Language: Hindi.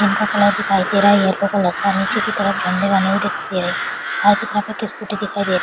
इनका दिखाई दे रहा है येलो कलर का नीचे की तरफ झंडे बने हुए दिखाई दे रहे और एक स्कूटी दिखाई दे रही --